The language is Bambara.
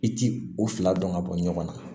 I ti u fila dɔn ka bɔ ɲɔgɔn na